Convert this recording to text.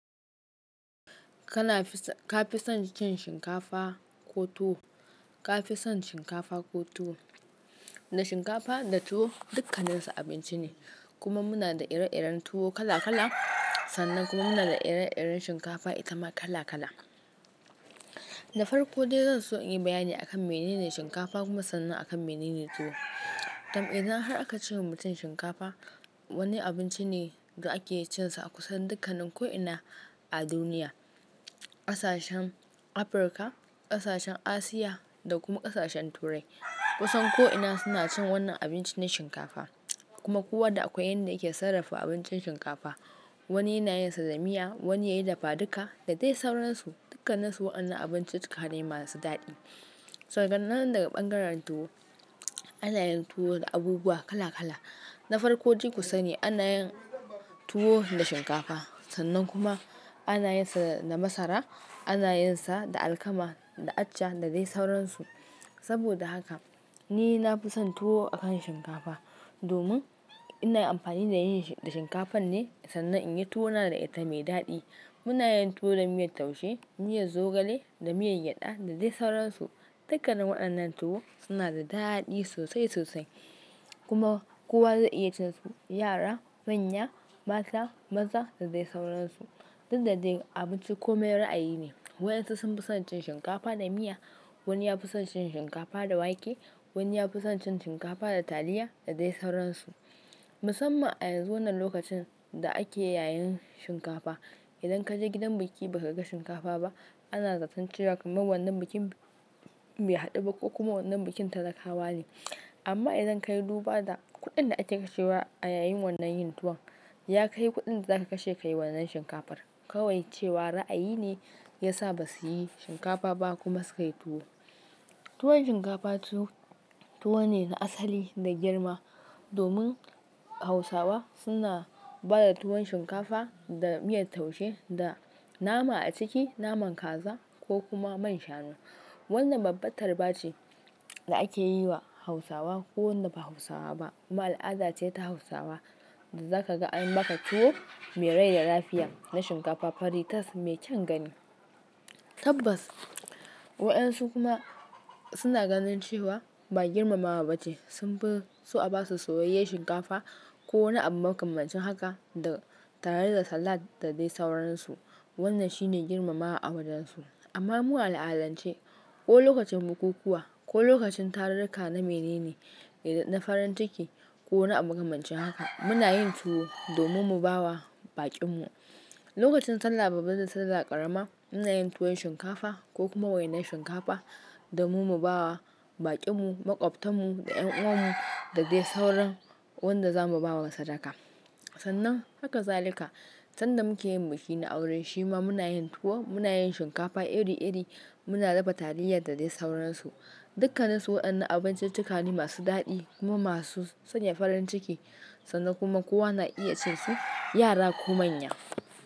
Ka fi son cin shinkafa ko tuwo? Ka fi son shinkafa ko tuwo? Da shinkafa da tuwo dukkaninsu abinci ne kuma muna da ire-iren tuwo kala-kala. Sannan kuma muna da ire-iren shinkafa itama kala-kala. Na farko dai zan so in yi bayani akan menene shinkafa kuma sannan akan menene tuwo. Tam idan har aka ce wa mutum shinkafa wani abinci ne da ake cinsa a kusan dukkanin ko'ina a duniya. Kasashen Afirka, ƙasashen Asiya da kuma ƙasashen Turai kusan ko'ina suna cin wannan abincin na shinkafa kuma kowa da akwai yanda yake sarrafa abincin shinkafa. Wani yana yin sa da miya, wani yayi dafaduka da dai sauransu. Dukkannisu wa'annan abinciccikane masu daɗi. Sa an'nan daga ɓangaren tuwo, ana yin tuwo da abubuwa kala-kala. Na farko dai ku sani ana yin tuwo da shinkafa sannan kuma ana yin sa da masara, ana yin sa da alkama, da accha da dai sauransu. Saboda haka ni na fi son tuwo akan shinkafa domin ina amfani da yin shi da shinkafan ne sannan in yi tuwo na da ita mai daɗi. Muna yin tuwo da miyar taushe, miyar zogale, da miyar gyada da dai sauransu. Dukkanin wa'annan tuwo suna da daɗi sosai sosai kuma kowa zai iya cin su, yara, manya, mata, maza da dai sauransu. Duk da dai abinci kome ra'ayi ne. Waɗansu sun fi son cin shinkafa da miya, wani ya fi son cin shinkafa da wake, wani ya fi son cin shinkafa da taliya da dai sauransu. Musamman a yanzu wannan lokacin da ake yayin shinkafa, idan ka je gidan biki ba ka ga shinkafa ba ana zaton cewa kaman wannan bikin bai haɗu ba ko kuma wannan bikin talakawa ne. Amma idan ka yi duba da kuɗin da ake kashewa a yayin wannan yin tuwon ya kai kuɗin da zaka kashe ka yi wannan shinkafar kawai cewa ra'ayi ne ya sa ba su yi shinkafa ba kuma sukayi tuwo. Tuwon shinkafa tuwo ne na asali da girma domin Hausawa suna ba da tuwon shinkafa da miyar taushe da nama a ciki naman kaza ko kuma man shanu. Wannan babbar tarba ce da ake yi wa Hausawa ko wanda ba Hausawa ba. Kuma al'ada ce ta Hausawa da zaka ga an maka tuwo mai rai da lafiya na shinkafa fari tas mai kyan gani. Tabbas waɗansu kuma suna ganin cewa ba girmamawa bace sun fi so a ba su soyayyen shinkafa ko wani abu makamancin haka da tare da salad da dai sauransu. Wannan shine girmamawa a wajen su. Amma mu a al'adance ko lokacin bukukuwa ko lokacin tarurruka na mene ne na farin ciki ko na abu makamancin haka muna yin tuwo domin mu ba wa baƙin mu. Lokacin Sallah babba da Sallah ƙarama muna yin tuwon shinkafa ko kuma wainar shinkafa domin mu ba wa baƙin mu, maƙwabtan mu da ƴan uwan mu da dai sauran wanda za mu ba wa sadaka. Sannan haka zalika sanda muke yin biki na auren shi ma muna yin tuwo, muna yin shinkafa iri-iri, muna dafa taliya da dai sauransu. Dukkannisu waɗannan abinciccikane masu daɗi kuma masu sanya farin ciki sannan kuma kowa na iya cin su, yara ko manya.